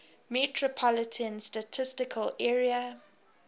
metropolitan statistical area